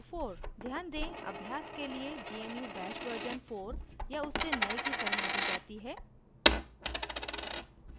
ध्यान दें अभ्यास के लियए gnu bash version 4 या उससे नए की सलाह दी जाती है